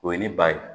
O ye ne ba ye